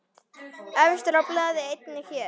Efstur á blaði einnig hér.